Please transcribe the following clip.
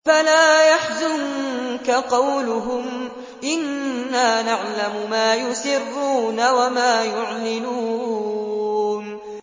فَلَا يَحْزُنكَ قَوْلُهُمْ ۘ إِنَّا نَعْلَمُ مَا يُسِرُّونَ وَمَا يُعْلِنُونَ